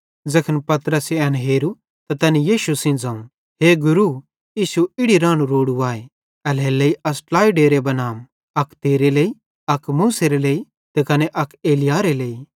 ज़ैखन पतरसे एन हेरू त तैनी यीशु सेइं ज़ोवं हे गुरू इश्शू इड़ी रानू रोड़ू आए एल्हेरेलेइ अस ट्लाइ डेरे बनाम अक तेरे लेइ अक मूसेरे लेइ त कने अक एलिय्याहेरे लेइ